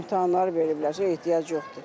İmtahanları veriblərsə ehtiyac yoxdur.